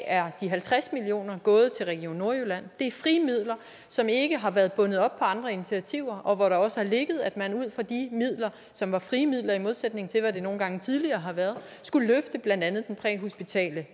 er de halvtreds million kroner gået til region nordjylland det er frie midler som ikke har været bundet op på andre initiativer og hvor der også har ligget at man ud fra de midler som var frie midler i modsætning til hvad det nogle gange tidligere har været skulle løfte blandt andet den præhospitale